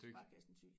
Sparekassen Thy